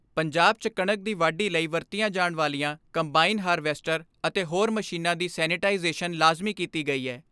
ਪੰਜਾਬ 'ਚ ਕਣਕ ਦੀ ਵਾਢੀ ਲਈ ਵਰਤੀਆਂ ਜਾਣ ਵਾਲੀਆਂ ਕੰਬਾਈਨ ਹਾਰਵੈਸਟਰ ਅਤੇ ਹੋਰ ਮਸ਼ੀਨਾਂ ਦੀ ਸੈਨੇਟਾਈਜੇਸ਼ਨ ਲਾਜ਼ਮੀ ਕੀਤੀ ਗਈ ਐ।